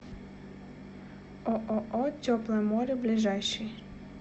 ооо теплое море ближайший